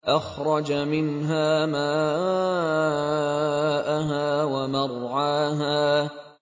أَخْرَجَ مِنْهَا مَاءَهَا وَمَرْعَاهَا